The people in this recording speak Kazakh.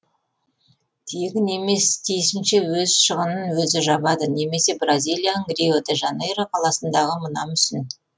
тегін емес тиісінше өз шығынын өзі жабады немесе бразилияның рио де жанейро қаласындағы мына мүсін